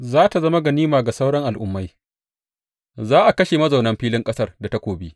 Za tă zama ganima ga sauran al’ummai, za a kashe mazaunan filin ƙasar da takobi.